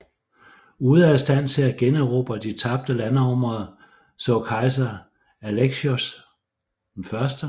Ude af stand til at generobre de tabte landområder så kejser Alexios 1